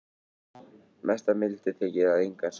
Mesta mildi þykir að engan sakaði